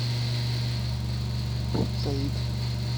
порт саид